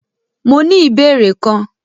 Mó ní ìbéèrè kan.